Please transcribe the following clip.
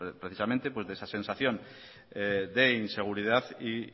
precisamente de esa sensación de inseguridad y